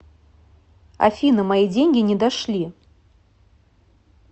афина мои деньги не дошли